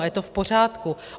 A je to v pořádku.